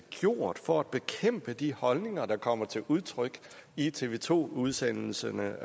gjort for at bekæmpe de holdninger der kommer til udtryk i tv to udsendelserne